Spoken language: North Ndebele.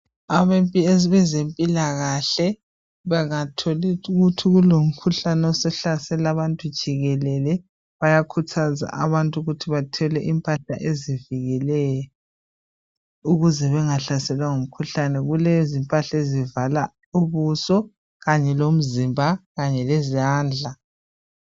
Abezempilakahle bangathola ukuthi sokulomkhuhlane osuhlasele abantu jikelele bayakhuthaza abantu ukuthi bathole impahla ezivikelayo ukuze bangahlaselwa ngumkhuhlane. Kulezimpahla ezivala ubuso kanye lomzimba kanye lezandla.